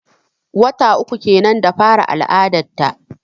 Wata uku kenan da fara al'adar ta.